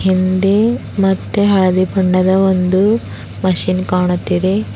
ಹಿಂದೆ ಮತ್ತೆ ಹಳದಿ ಬಣ್ಣದ ಒಂದು ಮೆಷೀನ್ ಕಾಣುತ್ತಿದೆ.